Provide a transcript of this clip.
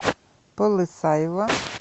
полысаево